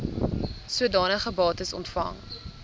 sodanige bates ontvang